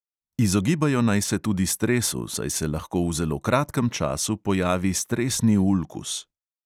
Izogibajo naj se tudi stresu, saj se lahko v zelo kratkem času pojavi stresni ulkus.